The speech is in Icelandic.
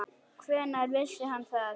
Hvenær vissi hann það?